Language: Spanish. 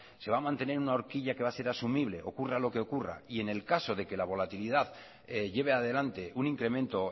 se va a mantener en una horquilla que va a ser asumible ocurra lo que ocurra y en el caso de que la volatilidad lleve adelante un incremento